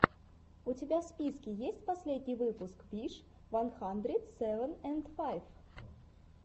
у тебя в списке есть последний выпуск виш ван хандрит севен энд файв